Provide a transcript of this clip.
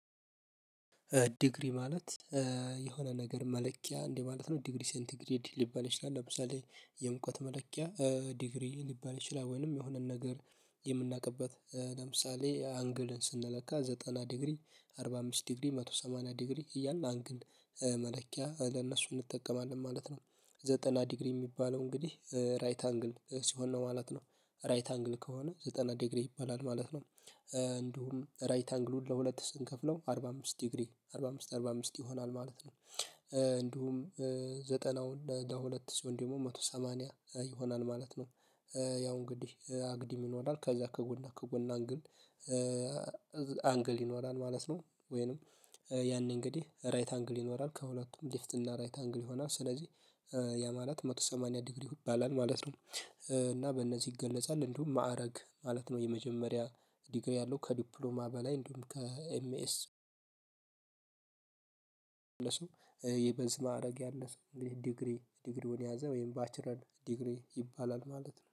ዲግሪ ማለት የሆነ ነገር መለኪያ እንዴ ማለት ነው ዲግሪ ሴንቲግሬድ ሊባል ይችላል ለምሳሌ የሙቀት መለኪያ ዲግሪ ሊባል ይችላል ወይንም የሆነን ነገር የምናውቅበት ለምሳሌ አንግልን ስንለካ ዘጠና ዲግሪ አርባ አምስት ዲግሪ አንድ መቶ ሰማኒያ ዲግሪ እያልን አንግል መለኪያ ለእነሱ እንጠቀማለን ማለት ነው ዘጠና ዲግሪ የሚባለው እንግዲህ ራይት አንግል ሲሆን ነው ማለት ነው ራይት አንግል ከሆነ ዘጠና ዲግሪ ይሆናል ማለት ነው። እንዲሁም ራይት አንግሉን ለሁለት ስንከፍለው አርባ አምስት ዲግሪ አርባ አምስት አርባ አምስት ይሆናል ማለት ነው እንዲሁም ዘጠና ለሁለት ሰው ደግሞ አንድ መቶ ሰማኒያ ይሆናል ማለት ነው። ያው እንግዲህ አግዲም ይኖራል ከዛ ከጎና ከጎናን ግን አንግል ይኖራል ማለት ነው። ወይንም ያኔ እንግዲህ ራይት አንግል ይኖራል ከሁለቱም ሊፍት እና ራይት አንግል ይሆናል ስለዚህ ያ ማለት አንድ መቶ ሰማኒያ ዲግሪ ይባላል ማለት ነው። እና በእነዚህ ይገለጻል እንዲሁም ማዕረግ ማለት ነው። የመጀመሪያ ዲግሪ ያለው ከዲፕሎማ በላይ እንዲሁም ከኤምኤስ የበዝ ማዕረግ ያለ ሰው እንግዲህ ዲግሪ ዲግሪውን ያዘ ወይም ባችረን ዲግሪ ይባላል ማለት ነው